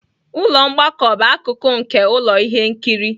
Ụlọ mgbakọ bụ akụkụ nke ụlọ ihe nkiri